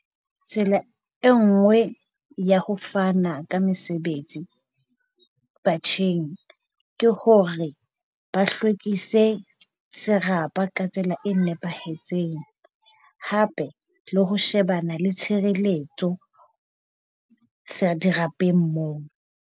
Tsela e nngwe ya ho fana ka mesebetsi batjheng ke hore ba hlwekise serapa ka tsela e nepahetseng hape le ho shebana le tshireletso sa dirapeng moo.